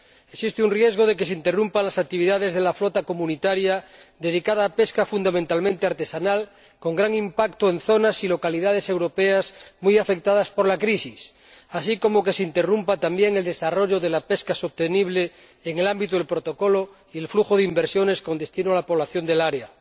Existe un riesgo de que se interrumpan las actividades de la flota comunitaria dedicada a la pesca fundamentalmente artesanal, con gran impacto en zonas y localidades europeas muy afectadas por la crisis, así como de que se interrumpa también el desarrollo de la pesca sostenible en el ámbito del Protocolo y el flujo de inversiones con destino a la población del área.